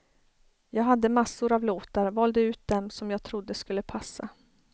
Jag hade massor av låtar, valde ut dem som jag trodde skulle passa.